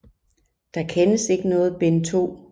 Der kendes ikke noget bind 2